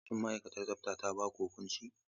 Shin ma'aikatar tsafta ta ba ku huƙunci?